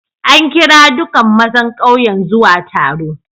An kira duƙan mazan ƙauyen zuwa taro.